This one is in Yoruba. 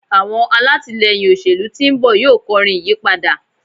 àwọn alatilẹyin òṣèlú tí nbọ yíò kọrin ìyípadà